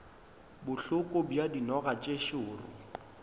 bohloko bja dinoga tše šoro